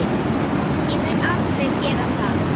Ég mun aldrei gera það.